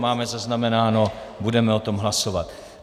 Máme zaznamenáno, budeme o tom hlasovat.